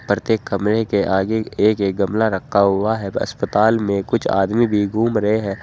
प्रत्येक कमरे के आगे एक एक गमला रखा हुआ है अस्पताल में कुछ आदमी भी घूम रहे हैं।